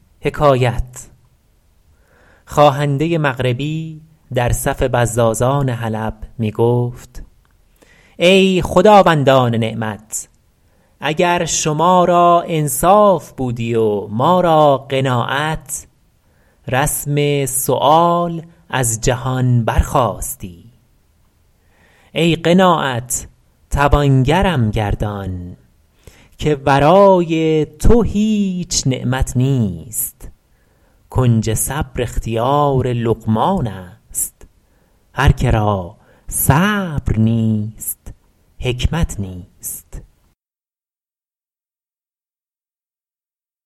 خواهنده مغربی در صف بزازان حلب می گفت ای خداوندان نعمت اگر شما را انصاف بودی و ما را قناعت رسم سؤال از جهان برخاستی ای قناعت توانگرم گردان که ورای تو هیچ نعمت نیست کنج صبر اختیار لقمان است هر که را صبر نیست حکمت نیست